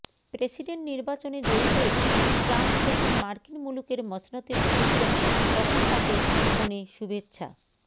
president নির্বাচনে জয়ী হয়ে ট্রাম্প যখন মার্কিন মুলুকের মসনদে বসেছিলেন তখন তাঁকে ফোনে শুভেচ্ছা